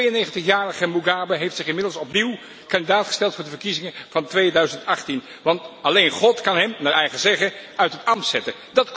De 92 jarige Mugabe heeft zich inmiddels opnieuw kandidaat gesteld voor de verkiezingen van 2018, want alleen God kan hem naar eigen zeggen uit zijn ambt zetten.